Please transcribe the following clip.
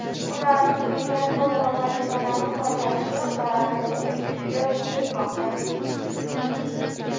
Ular turli jangovar vazifalarni bajarishi va raketa tashishi kutilmoqda.